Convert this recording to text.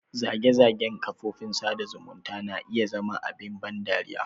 Zage-zagen kafofin sada zumunta na iya zama abin ban dariya.